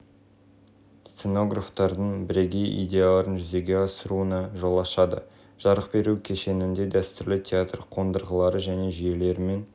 астана балет театрының сахнасында сценографиясы күрделі спектакльдер қоюға болады астана балет театры сахнасының мүмкіндіктері режиссерлер мен